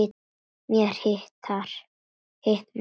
Mér hitnar.